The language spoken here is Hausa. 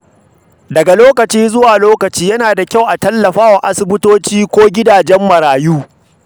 Daga lokaci zuwa lokaci, yana da kyau a tallafa wa asibitoci ko gidajen marayu.